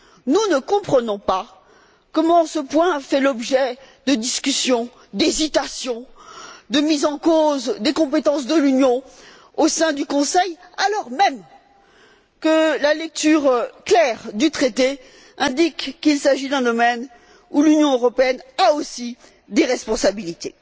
Nous ne comprenons pas comment ce point fait l'objet de discussions, d'hésitations, de mises en cause des compétences de l'Union au sein du Conseil, alors même que la lecture claire du Traité indique qu'il s'agit d'un domaine où l'Union européenne a aussi des responsabilités.